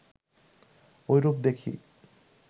ঐরূপ দেখি